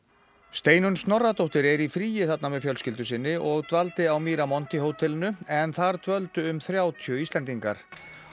Steinunn Snorradóttir er í fríi þarna með fjölskyldu sinni og dvaldi á Miramonti hótelinu en þar dvöldu um þrjátíu Íslendingar